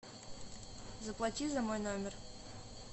заплати за мой номер